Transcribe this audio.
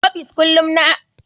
Office kullum yana da tsafta.